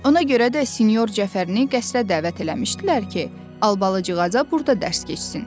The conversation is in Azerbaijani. Ona görə də sinyor Cəfərini qəsrə dəvət eləmişdilər ki, Albalıcığaza burda dərs keçsin.